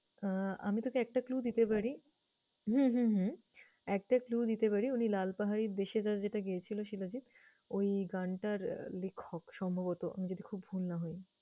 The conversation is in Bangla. আহ আমি তোকে একটা clue দিতে পারি। হুম হুম হুম একটা clue দিতে পারি উনি লাল পাহাড়ির দেশে যা যেটা গেয়েছিল শিলাজিত ওই গানটার লিখক সম্ভবত, আমি যদি খুব ভুল না হই।